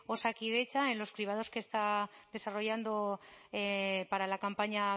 osakidetza en los cribados que está desarrollando para la campaña